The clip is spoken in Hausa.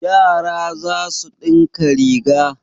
Yara za su ɗinka riga.